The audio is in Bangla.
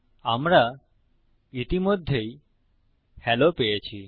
আমরা ইতিমধ্যেই হেলো পেয়েছি